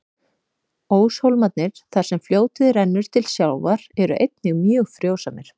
Óshólmarnir, þar sem fljótið rennur til sjávar, eru einnig mjög frjósamir.